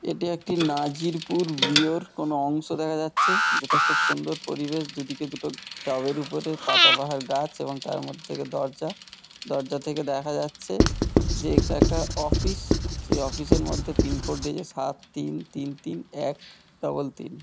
এটি একটি মাঝিরপুর গৃহর কোনো অংশ দেখা যাচ্ছে। যেটা খুব সুন্দর পরিবেশ দুদিকে দুটো টবের ওপরে পাতাবাহার গাছ এবং তার মধ্যে থেকে দরজা । দরজা থেকে দেখা যাচ্ছে যে এটা একটা অফিস সে অফিস -এর মধ্যে পিনকোড দেখে সাত তিন তিন তিন এক ডবল তিন।